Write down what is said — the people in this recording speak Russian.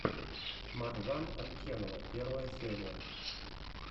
маржан алькенова первая серия